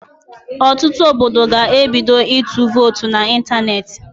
Ọtụtụ obodo ga-ebido ịtụ votu na ịntanetị